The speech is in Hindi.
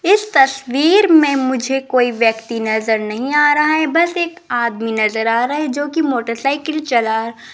इस तस्वीर में मुझे कोई व्यक्ति नजर नहीं आ रहा है बस एक आदमी नजर आ रहा है जो कि मोटरसाइकिल चला --